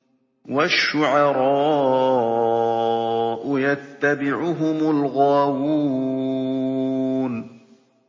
وَالشُّعَرَاءُ يَتَّبِعُهُمُ الْغَاوُونَ